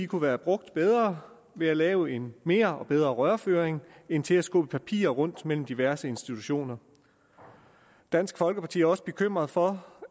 kunne være brugt bedre ved at lave en mere og bedre rørføring end til at skubbe papirer rundt mellem diverse institutioner dansk folkeparti er også bekymret for